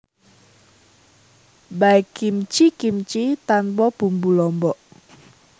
Baekgimchi kimchi tanpa bumbu lombok